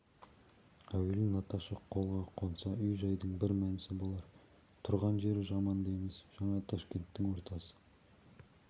әуелі наташа қолға қонса үй-жайдың бір мәнісі болар тұрған жері жаман да емес жаңа ташкенттің ортасы